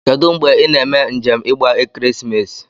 Kedu ngbe ina eme njem igba ekeresimesi?